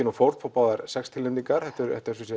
og fórn fá báðar sex tilnefningar þetta eru